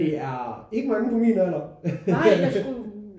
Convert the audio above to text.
Det er ikke mange på min alder